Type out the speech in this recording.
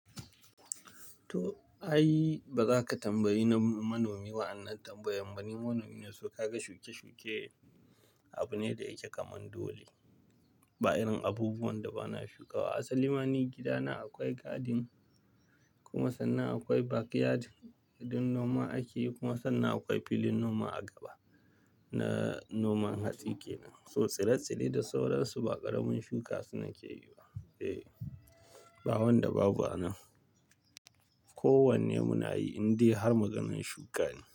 To ai, ba za ka tambayi manomi ba. Wananan tambayan gani manomi ne, so ka ga shuke-shuke, abu ne da yake kamar dole. Ba irin abubuwan da bana shukawa. A salima ni gidana akwai garden kuma sannan akwai backyard don noma ake yi kuma sannan akwai filin noma a gaba na noman hatsi kenan. So tsire-tsire da sauransu ba ƙaramin shuka su nake yi ba. Eh, ba wanda babu anan. Ko wanne mu na yi, in dai har maganan shuka ne.